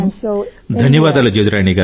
ధన్యవాదాలు జదురాణి గారూ